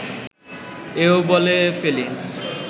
এও বলে ফেলি